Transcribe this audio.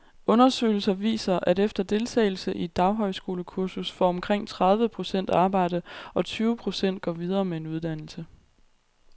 Undersøgelser viser, at efter deltagelse i et daghøjskolekursus får omkring tredive procent arbejde, og tyve procent går videre med en uddannelse.